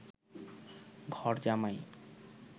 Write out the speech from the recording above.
ঘরজামাই